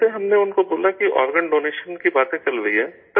جیسے ہی ہم نے ان کو بولا کہ آرگن ڈونیشن کی باتیں چل رہی ہیں